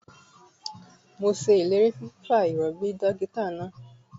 Mo se eléèrí sí fífa ìròbì dókítà náà